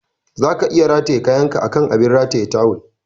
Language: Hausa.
Zaka iya rataye kayanka akan abin rataye tawul.